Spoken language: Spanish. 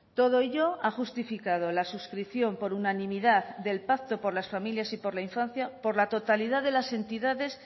todo ello ha justificado la suscripción por unanimidad del pacto por las familias y por la infancia por la totalidad de las entidades